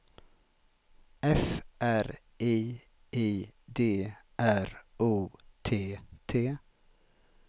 F R I I D R O T T